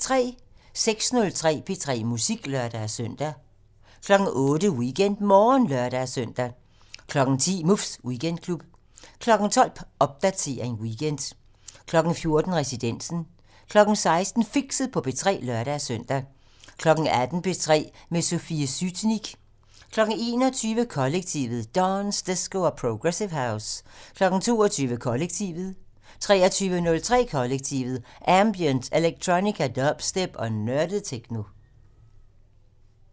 06:03: P3 Musik (lør-søn) 08:00: WeekendMorgen (lør-søn) 10:00: Muffs Weekendklub 12:00: Popdatering weekend 14:00: Residensen 16:00: Fixet på P3 (lør-søn) 18:00: P3 med Sofie Sytnik 21:00: Kollektivet: Dance, disco og progressive house 22:00: Kollektivet 23:03: Kollektivet: Ambient, electronica, dubstep og nørdet techno